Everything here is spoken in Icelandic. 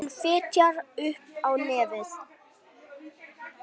Hún fitjar upp á nefið.